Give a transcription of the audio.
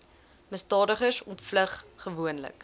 misdadigers ontvlug gewoonlik